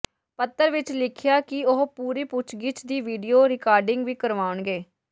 ਪੱਤਰ ਵਿੱਚ ਲਿਖਿਆ ਕਿ ਉਹ ਪੂਰੀ ਪੁੱਛਗਿਛ ਦੀ ਵੀਡੀਓ ਰਿਕਾਰਡਿੰਗ ਵੀ ਕਰਾਉਣਗੇ